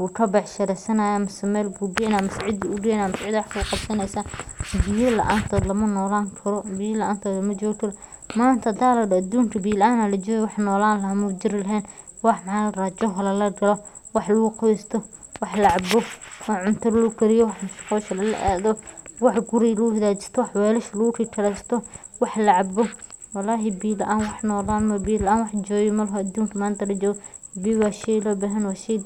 uga bacshi rasanaya, masha bal bu gaynayo masha cida ayu gaynayo ama cida waya wax ka qabsana biya laa antoda lama nolani karo, biya laan toda lama jogikaro, manta hada ladaho adunka biya laan aya la joga, wax nolani lahay mujiri lahan, wax wax laa rabah joh laa lagaloh wax lagu qabsah wax laacboh wax cunta lagu gatiyoh wax guuri lagu xaga jistoh wax walsha lagu galsoh wax laa caboh walhi biya laan wax jogi malahan adunka manta, laa jogoh biyo wa shegka lobahanyahay.